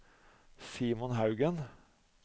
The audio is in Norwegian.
Simon Haugen